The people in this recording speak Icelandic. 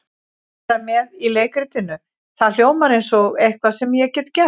Vera með í leikritinu, það hljómar eins og eitthvað sem ég get gert.